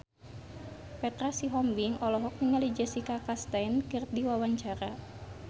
Petra Sihombing olohok ningali Jessica Chastain keur diwawancara